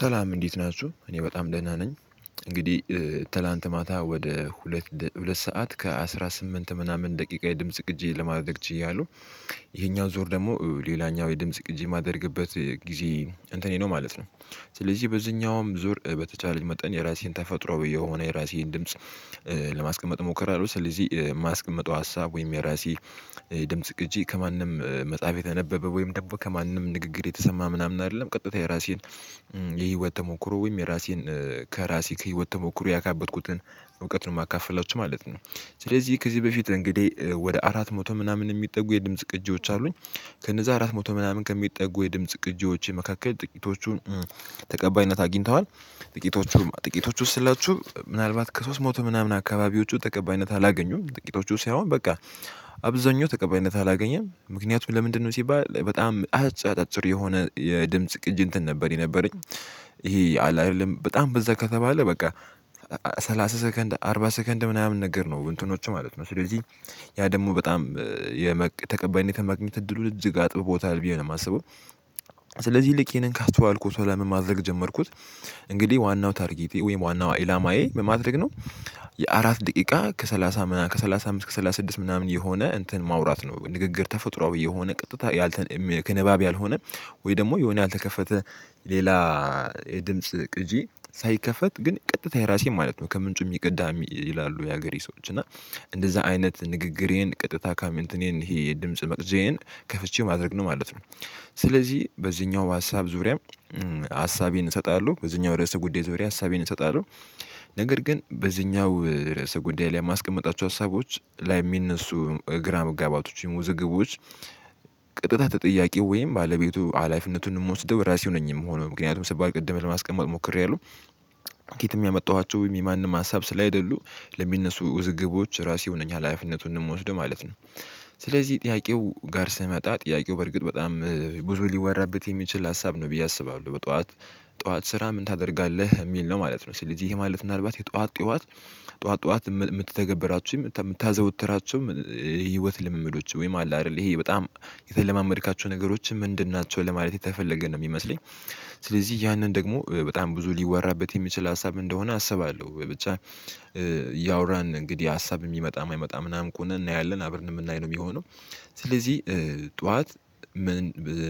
ሰላም እንዴት ናችሁ እኔ በጣም ደህና ነኝ። እንግዲህ ትላንት ማታ ወደ ሁለት ሁለት ሰዓት ከአስራ ስምንት ምናምን ደቂቃ የድምጽ ቅጂ ለማድረግ ችያለሁ። ይሄኛው ዞር ደግሞ ሌላኛው የድምጽ ቅጂ የማደርግበት ጊዜ እንትኔ ነው ማለት ነው። ስለዚህ በዚህኛውም ዙር በተቻለችኝ መጠን የራሴን ተፈጥሮ ብዬ የሆነ የራሴን ድምጽ ለማስቀመጥ ሞክራለሁ። ስለዚህ የማስቀምጠው ሀሳብ ወይም የራሴ ድምጽ ግጂ ከማንም መጽሐፍ የተነበበ ወይም ደግሞ ከማንም ንግግር የተሰማ ምናምን አይደለም። ቀጥታ የራሴን የህይወት ተሞክሮ ወይም የራሴን ከራሴ ከህይወት ተሞክሮ ያካበትኩትን እውቀትን ማካፈላቸው ማለት ነው። ስለዚህ ከዚህ በፊት እንግዲህ ወደ አራት መቶ ምናምን የሚጠጉ የድምጽ ቅጂዎች አሉኝ። ከነዛ አራት መቶ ምናምን ከሚጠጉ የድምጽ ቅጂዎች መካከል ጥቂቶቹን ተቀባይነት አግኝተዋል። ጥቂቶቹም ጥቂቶቹ ውስጥ ስላችሁ ምናልባት ከሶስት ሞቱ ምናምን አካባቢዎቹ ተቀባይነት አላገኙም ጥቂቶቹ ሳይሆን በቃ አብዛኛው ተቀባይነት አላገኘም። ምክንያቱም ለምንድነው ሲባል በጣም አጫጭር የሆነ የድምጽ ቅጅ እንትን ነበር የነበረኝ። ይሄ አላይልም በጣም በዛ ከተባለ በቃ ሰላሳ ሰከንድ አርባ ሰከንድ ምናምን ነገር ነው እንትኖች ማለት ነው። ስለዚህ ያ ደግሞ በጣም የተቀባይነት መገኘት እድሉን እጅግ አጥብቦታል ብየ ነው የማስበው። ስለዚህ ልክ ይህንን ካስተዋልኩት በኋላ ምን ማድረግ ጀመርኩት። እንግዲህ ዋናው ታርጌት ወይም ዋናው ኢላማየ ምን ማድረግ ነው? የአራት ደቂቃ ከሰላሳ ከሰላሳ አምስት ከሰላሳ ስድስት ምናምን የሆነ እንትን ማውራት ነው። ንግግር ተፈጥሮ የሆነ ቀጥታ ያል ከንባብ ያልሆነ ወይ ደግሞ የሆነ ያልተከፈተ ሌላ የድምጽ ቅጂ ሳይከፈት ግን ቀጥታ የራሴ ማለት ነው። ከምንጩ የሚቅዳ ይላሉ የሀገሬ ሰዎች እና እንደዛ አይነት ንግግሬን ቅጥታ ካምንትኔን ይሄ የድምጽ መቅጀየን ከፍቼ ማድረግ ነው ማለት ነው። ስለዚህ በዚህኛው በሀሳብ ሀሳቤን እሰጣለሁ በዚህኛው ርዕስ ጉዳይ ዙሪያ ሀሳቤን እሰጣለሁ። ነገር ግን በዚህኛው ርዕሰ ጉዳይ ላይ የማስቀመጣቸው ሀሳቦች ላይ የሚነሱ ግራ መጋባቶች ወይም ውዝግቦች። ቅጥታ ተጠያቂው ወይም ባለቤቱ አላፊነቱን እንደምወስደው ራሴው ነኝ የምሆነው። ምክንያቱም ሰባል ቅድም ለማስቀመጥ ሞክሬያለሁ ከየትም ያመጣኋቸው ወይም የማንም ሀሳብ ስላልሆኑ ለሚነሱ ውዝግቦች ራሴ ሆነኛ ሀላፊነቱን እንወስደው ማለት ነው። ስለዚህ ጥያቄው ጋር ስመጣ ጥያቄው በርግጥ በጣም ብዙ ሊወራበት የሚችል ሀሳብ ነው ብዬ አስባለሁ። በጠዋት ጠዋት ስራ ምን ታደርጋለህ የሚል ነው ማለት ነው። ስለዚህ ይሄ ማለት ምናልባት የጠዋት ጠዋት ጠዋት ጠዋት የምትተገብራችሁ የምታዘወትራቸውም ህይወት ልምምዶች ወይም አለ አይደል? ይሄ በጣም የተለማመድካቸው ነገሮችን ምንድን ናቸው ለማለት የተፈለገ ነው የሚመስለኝ። ስለዚህ ያንን ደግሞ በጣም ብዙ ሊወራበት የሚችል ሀሳብ እንደሆነ አስባለሁ ብቻ። ያውራን እንግዲህ ሀሳብ የሚመጣ አይመጣ ምናምን ከሆነ እናያለን አብር እንደምናይ ነው የሚሆነው። ስለዚህ ጠዋት ምን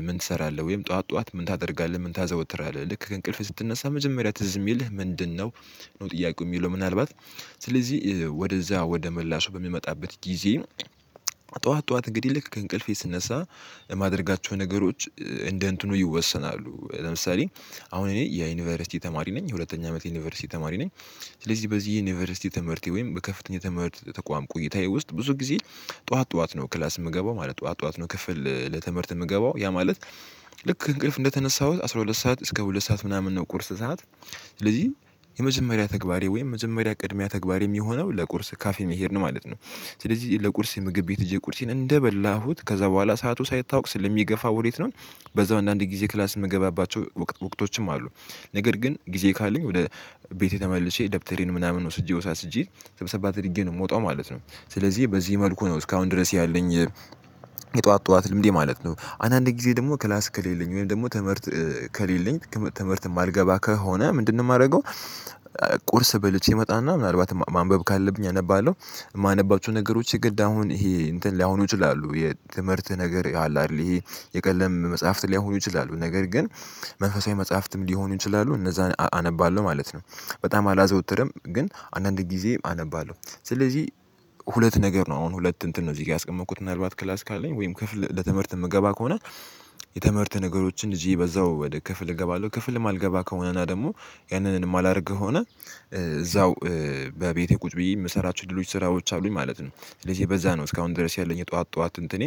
ምን እሰራለሁ ወይም ጠዋት ጠዋት ምን ታደርጋለህ ምን ታዘወትራለህ ልክ ከእንቅልፍ ስትነሳ መጀመሪያ ትዝ የሚልህ ምንድነው? ነው ጥያቄው የሚለው ምናልባት ስለዚህ ወደዛ ወደ ምላሹ በሚመጣበት ጊዜ። ጠዋት ጠዋት እንግዲህ ልክ ከእንቅልፌ ስነሳ የማደርጋቸው ነገሮች እንደ እንትኑ ይወሰናሉ ለምሳሌ አሁን እኔ የዩኒቨርሲቲ ተማሪ ነኝ የሁለተኛ አመት ዩኒቨርሲቲ ተማሪ ነኝ። ስለዚህ በዚህ ዩኒቨርሲቲ ትምህርቴ ወይም በከፍተኛ ትምህርት ተቋም ቆይታዬ ውስጥ ብዙ ጊዜ ጠዋት ጠዋት ነው ክላስ የምገባው ማለት ጠዋት ጠዋት ነው ክፍል ለትምህርት የምገባው ያ ማለት። ልክ እንቅልፍ እንደተነሳሁት አስራ ሁለት ሰዓት እስከ ሁለት ሰዓት ምናምን ነው ቁርስ ሰዓት ስለዚህ የመጀመሪያ ተግባሬ ወይም የመጀመሪያ ቅድሚያ ተግባሪ የሚሆነው ለቁርስ ካፌ መሄድ ነው ማለት ነው። ስለዚህ ለቁርስ ምግብ ቤት ሄጀ ቁርሴን እንደበላሁት ከዛ በኋላ ሰዓቱ ሳይታወቅ ስለሚገፋ ወዴት ነው? በዛው አንዳንድ ጊዜ ክላስ የምገባባቸው ወቅት ወቅቶችም አሉ። ነገር ግን ጊዜ ካለኝ ወደ ቤቴ ተመልሼ ደብተሬን ምናምን ወስጄ ወሳስጄ ስብሰባ ተደርጌ ነው የምወጣው ማለት ነው። ስለዚህ በዚህ መልኩ ነው እስካሁን ድረስ ያለኝ። የጧት ጧት ልምድ ማለት ነው አንዳንዴ ጊዜ ደግሞ ክላስ ከሌለኝ ወይም ደግሞ ትምህርት ከሌለኝ ትምህርት የማልገባ ከሆነ ምንድነው የማደርገው? ቁርስ በልቼ እመጣና ምናልባት ማንበብ ካለብኝ አነባለሁ። የማነባቸው ነገሮች ግድ አሁን ይሄ እንትን ሊያሁኑ ይችላሉ የትምህርት ነገር አለ አይደል ይሄ የቀለም መጽሐፍት ላይሆኑ ይችላሉ ነገር ግን መንፈሳዊ መጽሐፍትም ሊሆኑ ይችላሉ እነዛን አነባለሁ ማለት ነው። በጣም አላዘወትርም ግን አንዳንድ ጊዜ አነባለሁ ስለዚህ። ሁለት ነገር ነው አሁን ሁለት እንትን ነው እዚህ ጋር ያስቀመጥኩት ምናልባት ክላስ ካለኝ ወይም ክፍል ለትምህርት የምገባ ከሆነ። የትምህርት ነገሮችን እዚህ በዛው ወደ ክፍል እገባለሁ ክፍል የማልገባ ከሆነና ደግሞ ያንንን የማላደርገው ከሆነ እዛው በቤቴ ቁጭ ብዬ የምሰራቸው ድሎች ስራዎች አሉኝ ማለት ነው። ስለዚህ በዛ ነው እስካሁን ድረስ ያለኝ የጧት ጧት እንትኔ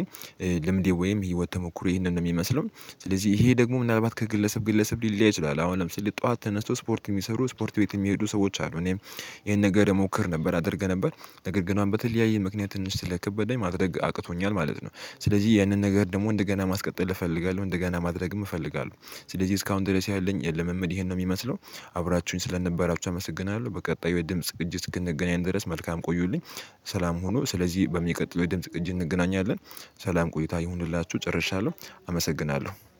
ልምዴ ወይም የህይወት ተሞክሮ ይሄንን ነው የሚመስለው። ስለዚህ ይሄ ደግሞ ምናልባት ከግለሰብ ግለሰብ ሊል ሊያይ ይችላል አሁን ለምሳሌ ተነስቶ ስፖርት የሚሰሩ ስፖርት ቤት የሚሄዱ ሰዎች አሉ እኔም ይሄን ነገር እሞክር ነበር አደርግ ነበር። ነገር ግን በተለያየ ምክንያት ትንሽ ስለክበደኝ ማድረግ አቅቶኛል ማለት ነው። ስለዚህ ያንን ነገር ደግሞ እንደገና ማስቀጠል እፈልጋለሁ እንደገና ማድረግም እፈልጋለሁ። ስለዚህ እስካሁን ድረስ ያለኝ የልምምድ ይሄን ነው የሚመስለው። አብራችሁኝ ስለነበራችሁ አመሰግናለሁ። በቀጣዩ የድምጽ እጅ ስንገናኝ ድረስ መልካም ቆዩልኝ። ሰላም ሆኖ ስለዚህ በሚቀጥለው የድምጽ ቅጂ እንገናኛለን። ሰላም ቆይታ ይሁንላችሁ ጨርሻለሁ አመሰግናለሁ